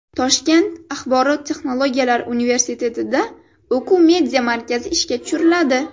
Toshkent axborot texnologiyalari universitetida o‘quv media markazi ishga tushiriladi.